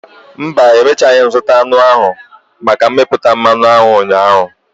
Mba, emechaghị m zụta aṅụ ndị ahụ maka mmepụta mmanụ aṅụ ụnyaahụ.